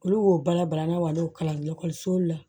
Olu b'o bala balalenw kalanso la